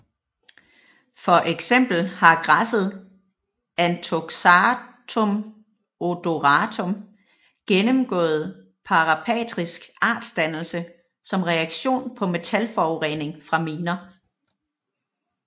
For eksempel har græsset Anthoxanthum odoratum gennemgået parapatrisk artsdannelse som reaktion på metalforurening fra miner